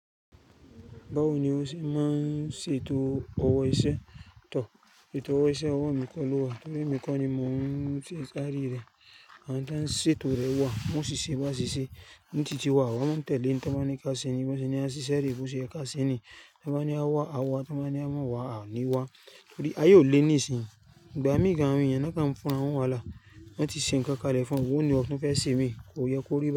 Báwo ni o ṣe máa ń ṣètò ọwọ́ iṣẹ́? Tọ́, ti towo iṣẹ́ ọwọ́ mi kọ́ ló wà torí èmi kọ́ ni mò ń ṣe ìṣarí rẹ̀. Àwọn tí wọ́n ń ṣètò rẹ̀ wà, wọ́n sì ṣe bí wọ́n ṣeṣẹ, ni ti ti wá àwa máa ń tẹ̀lẹ́ ẹ in tiwọ́n bá ní ká sẹ́ni, bí wọ́n ṣe ní a ṣiṣẹ́ re, bó ṣe yẹ ká ṣeni. Tí wọ́n bá ní a wá, a wá, tí wọ́n bá ní a máa wá, a ní wá torí ayé ò lé níìsín. Ìgbà mi gan-an, àwọn èèyàn ni wọ́n kàn fún ara wọn n wàhálà. Wọ́n ti ṣe nǹkan kalẹ̀ fún o o, ó ni o kí n fẹ́ ṣe mì, kó yẹ kó rí be.